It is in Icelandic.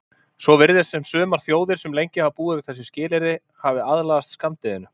Svo virðist sem sumar þjóðir sem lengi hafa búið við þessi skilyrði hafi aðlagast skammdeginu.